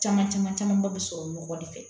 Caman caman camanba bɛ sɔrɔ nɔgɔ de fɛ